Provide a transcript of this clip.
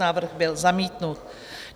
Návrh byl zamítnut.